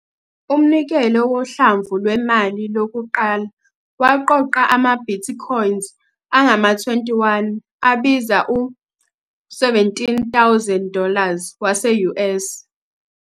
Umnikelo wohlamvu lwemali lokuqala waqoqa ama- bitcoins angama- 21 abiza u- 17,000 dollars wase-US.